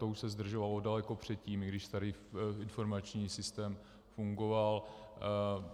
To už se zdržovalo daleko předtím, i když starý informační systém fungoval.